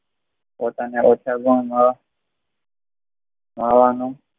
પોતાના રહેઠાણ ગામ વાળા હોવાનું